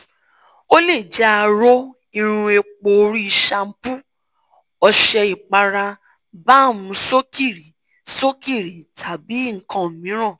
o le jẹ aro irun epo ori shampoo ọṣẹ ipara balm sokiri sokiri tabi nkan miiran